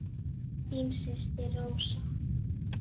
Þín systir Rósa.